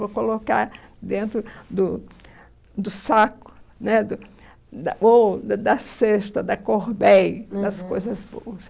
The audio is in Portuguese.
Vou colocar dentro do do saco né do, da ou da da cesta, da, uhum, das coisas boas.